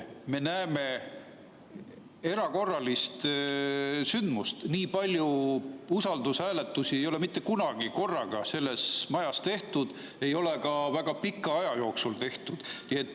Me näeme erakorralist sündmust – nii palju usaldushääletusi ei ole mitte kunagi korraga selles majas tehtud, ei ole ka väga pika aja jooksul tehtud.